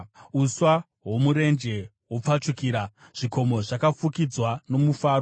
Uswa hwomurenje hwopfachukira; zvikomo zvakafukidzwa nomufaro.